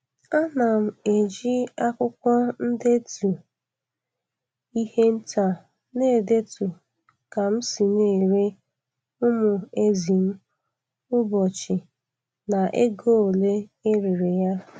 Ana m eji akwụkwọ ndetu ihe nta na-edetu ka m si na-ere umu ezi m ụbọchị na ego ole e rere ya.